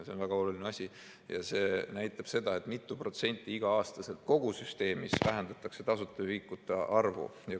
See on väga oluline asi ja see näitab seda, mitu protsenti igal aastal kogu süsteemis vähendatakse tasuta ühikute arvu.